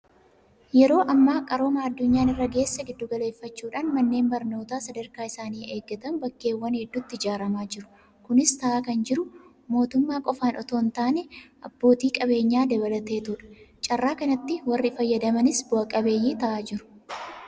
Yeroo ammaa qarooma addunyaan irra geesse giddu galeeffachuudhaan manneen barnootaa sadarkaa isaanii eeggatan bakkeewwan hedduutti ijaaramaa jiru. Kunis ta'aa kan jiru mootummaa qofaan itoo hintaane abbootii qabeenyaa dabalateetudha. Carraa kanatti warri fayyadamanis bu'a qabeeyyii ta'aa jiru.